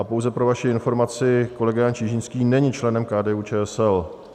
A pouze pro vaši informaci, kolega Jan Čižinský není členem KDU-ČSL.